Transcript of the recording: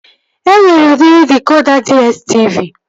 E nwere udiri dịkoda DSTV